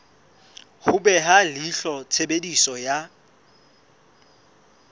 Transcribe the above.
ho beha leihlo tshebediso ya